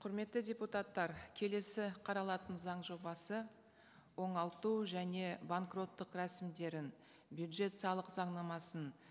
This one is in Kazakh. құрметті депутаттар келесі қаралатын заң жобасы оңалту және банкроттық рәсімдерін бюджет салық заңнамасын